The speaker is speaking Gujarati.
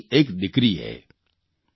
ઝાંસીની એક દિકરીએ